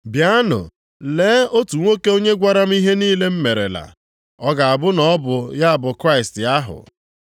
“Bịanụ lee otu nwoke onye gwara m ihe niile m merela. Ọ ga-abụ na ọ bụ ya bụ Kraịst ahụ?”